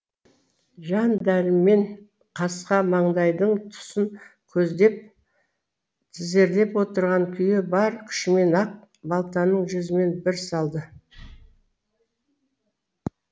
жан дәрмен қасқа маңдайдың тұсын көздеп тізерлеп отырған күйі бар күшімен ақ балтаның жүзімен бір салды